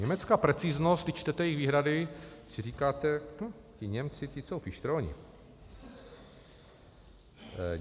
Německá preciznost, když čtete jejich výhrady, si říkáte, ti Němci, to jsou fištróni.